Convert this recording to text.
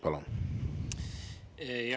Palun!